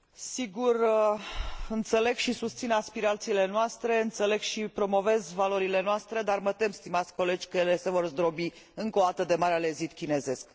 Sigur, înțeleg și susțin aspirațiile noastre, înțeleg și promovez valorile noastre, dar mă tem, stimați colegi, că ele se vor zdrobi, încă o dată, de Marele Zid Chinezesc.